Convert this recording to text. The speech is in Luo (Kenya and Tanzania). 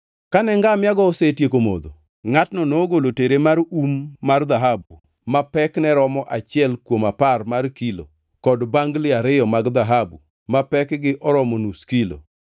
Kane ngamia-go osetieko modho, ngʼatno nogolo tere mar um mar dhahabu ma pekne romo achiel kuom apar mar kilo kod bangli ariyo mag dhahabu mapekgi oromo nus kilo.